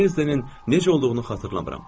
Drezdenin necə olduğunu xatırlamıram.